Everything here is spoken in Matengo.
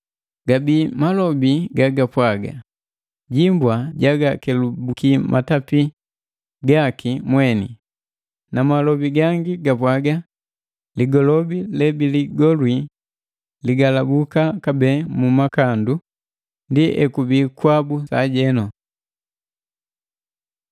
Gabii malobi gagapwa: “Jimbwa jagakelubuki matapii gaki mweni,” na malobi gangi gapwaga: “Ligolobi le biligolwi ligalabuka kabee mu makandu!” Ndi ekubii kwabu sajenu.